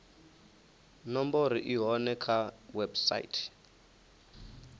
nomboro i hone kha website